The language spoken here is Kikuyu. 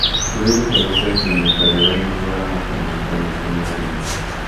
Wĩrute gũcenjia mĩikarire nĩguo ũramate maguta maingĩ mwĩrĩ-inĩ